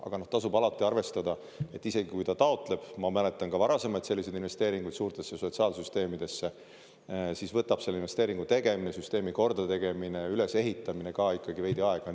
Aga tasub alati arvestada, et isegi kui ta taotleb – ma mäletan ka varasemaid selliseid investeeringuid suurtesse sotsiaalsüsteemidesse –, siis võtab selle investeeringu tegemine, süsteemi kordategemine, ülesehitamine ka ikkagi veidi aega.